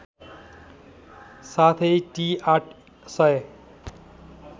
साथै टि ८००